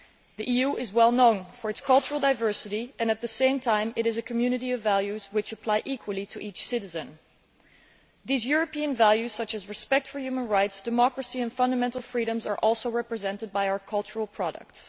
The EU is well known for its cultural diversity and, at the same time, it is a community of values which apply equally to each citizen. These European values, such as respect for human rights, democracy and fundamental freedoms, are also represented by our cultural products.